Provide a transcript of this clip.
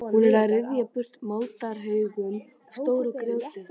Hún er að ryðja burtu moldarhaugum og stóru grjóti.